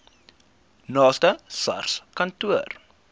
naaste sars kantoor